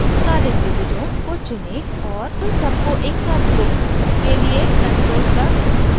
सारे त्रिभुजों को चुनें और उन सबको एकसाथ group करने के लिए ctrl + g दबाएं